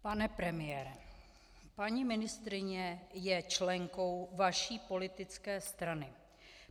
Pane premiére, paní ministryně je členkou vaší politické strany.